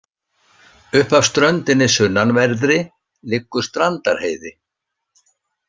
Upp af ströndinni sunnanverðri liggur Strandarheiði.